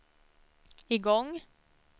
igång